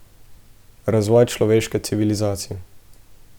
Razvoja človeške civilizacije.